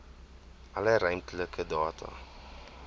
alle ruimtelike data